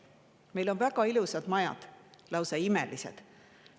Meil on väga ilusad majad, lausa imelised.